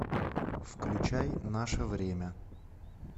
включай наше время